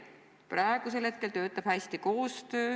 Praegu toimib koostöö hästi.